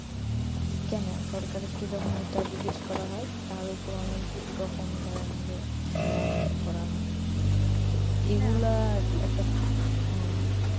কেন সরকারের কি এটা জিজ্ঞেস করা হয় তার উপর অনেক রকম ধরেন যে মারধর করা হয় এইগুলা একটা হ্যাঁ,